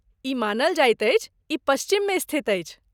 ई मानल जाइत अछि, ई पश्चिममे स्थित अछि।